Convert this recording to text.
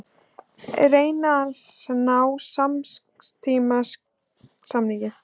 Reyna að ná skammtímasamningi